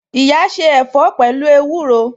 Iya se ẹ̀fọ́ pẹ̀lú ewúro